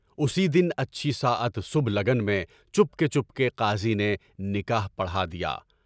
اسی دن اچھی ساعت و سب لگن میں چپکے چپکے قاضی نے نکاح پڑھا دیا۔